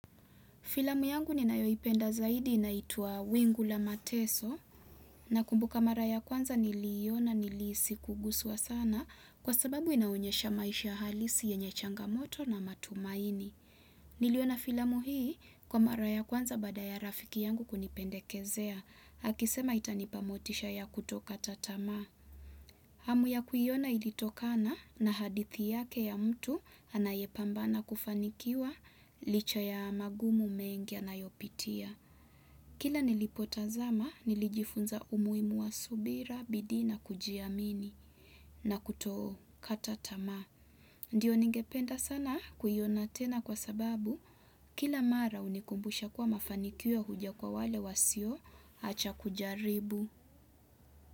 Filamu yangu ninayoipenda zaidi inaitwaa wingu la mateso nakumbuka mara ya kwanza niliona nilihisi kuguswa sana kwa sababu inaonyesha maisha halisi yenye changamoto na matumaini. Niliona filamu hii kwa mara ya kwanza baada ya rafiki yangu kunipendekezea. Akisema itanipa motisha ya kutokata tamaa. Hamu ya kuiona ilitokana na hadithi yake ya mtu anayepambana kufanikiwa licha ya magumu mengia anayopitia. Kila nilipotazama nilijifunza umuhimu wa subira bidii na kujiamini na kutokata tamaa. Ndiyo ningependa sana kuiona tena kwa sababu kila mara hunikumbusha kuwa mafanikio huja kwa wale wasioacha kujaribu.